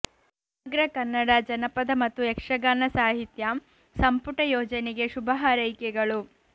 ಸಮಗ್ರ ಕನ್ನಡ ಜನಪದ ಮತ್ತು ಯಕ್ಷಗಾನ ಸಾಹಿತ್ಯ ಸಂಪುಟ ಯೋಜನೆಗೆ ಶುಭ ಹಾರೈಕೆಗಳು